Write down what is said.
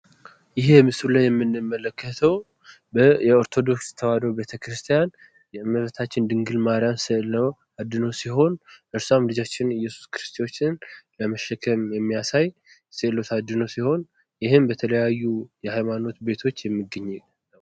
ይሄ ምስሉ ላይ የምንመለከተው የኦርቶዶክስ ተዋሕዶ ቤተክርስቲያን የእመቤታችን ድንግል ማርያም ስዕል ነው። እሷም ኢየሱስ ክርስቶስን በመሸከም የሚያሳይ ስዕል አድኅኖ ሲሆን ይህም በተለያዩ የሃይማኖት ቤቶች የሚገኝ ነው።